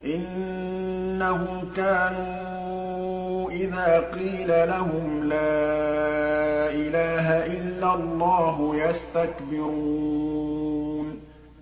إِنَّهُمْ كَانُوا إِذَا قِيلَ لَهُمْ لَا إِلَٰهَ إِلَّا اللَّهُ يَسْتَكْبِرُونَ